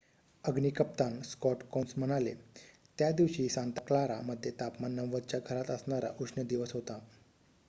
अग्नी कप्तान Scott Kouns म्हणाले त्या दिवशी सांता क्लारा मध्ये तापमान 90 च्या घरात असणारा उष्ण दिवस होता